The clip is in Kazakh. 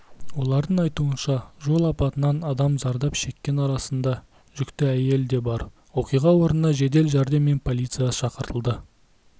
олардың айтуынша жол апатынан адам зардап шеккен арасында жүкті әйел де бар оқиға орнына жедел жәрдем мен полиция шақыртылды